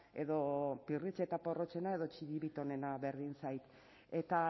edo pirritx eta porrotxena edo txiribitonena berdin zait eta